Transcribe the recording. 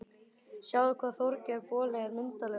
Sjáðu hvað Þorgeir boli er myndarlegur